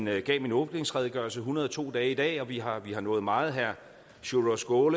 jeg gav min åbningsredegørelse hundrede og to dage i dag vi har vi har nået meget herre sjúrður